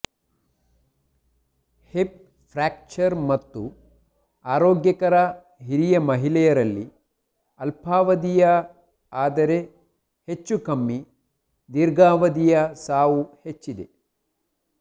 hip fracture ಮತ್ತು ಆರೋಗ್ಯಕರ ಹಿರಿಯ ಮಹಿಳೆಯರಲ್ಲಿ ಅಲ್ಪಾವಧಿಯ ಆದರೆ ಹೆಚ್ಚೂಕಮ್ಮಿ ದೀರ್ಘಾವಧಿಯ ಸಾವು ಹೆಚ್ಚಿದೆ